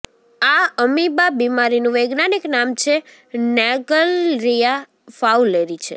આ અમીબા બિમારીનું વૈજ્ઞાનિક નામ છે નેગ્લરિયા ફાઉલેરી છે